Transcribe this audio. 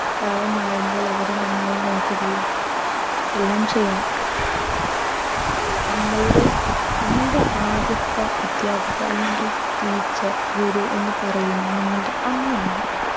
പ്രായമാവുമ്പോൾ അവരെ നന്നായി നോക്കുകയും എല്ലാം ചെയ്യണം നമ്മളുടെ ആദ്യത്തെ അദ്ധ്യാപിക അല്ലെങ്കിൽ teacher ഗുരു എന്ന് പറയുന്നത് നമ്മളുടെ അമ്മയാണ്